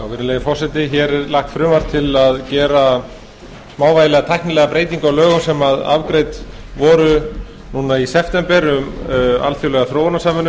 virðulegi forseti hér er lagt fram frumvarp til að gera smávægilega tæknilega breytingu á lögum sem afgreidd voru núna í september um alþjóðlega þróunarsamvinnu